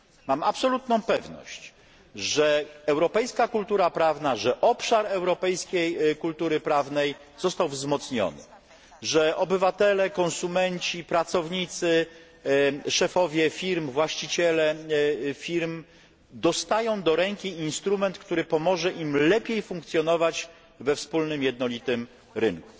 Mam absolutną pewność, że europejska kultura prawna, że jej europejski obszar został wzmocniony, że obywatele, konsumenci, pracownicy, szefowie i właściciele firm dostają do ręki instrument, który pomoże im lepiej funkcjonować we wspólnym, jednolitym rynku.